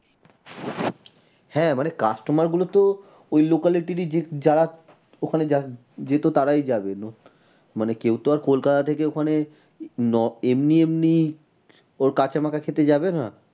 হ্যাঁ মানে customer গুলো তো ওই locality ই যারা ওখানে যেত তারাই যাবে কেউ তো আর কলকাতা থেকে ওখানে এমনি এমনি ওর কাঁচা মাখা খেতে যাবে না।